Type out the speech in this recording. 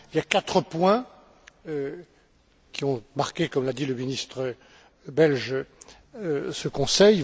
Il y a quatre points qui ont marqué, comme l'a dit le ministre belge, ce Conseil.